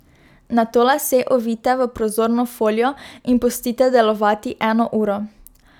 Nato lase ovijte v prozorno folijo in pustite delovati eno uro.